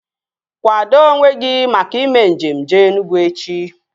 Kwado onwe gị maka ime njem jee Enugwu echi!